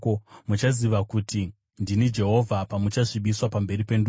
Muchaziva kuti ndini Jehovha, pamuchasvibiswa pamberi pendudzi.’ ”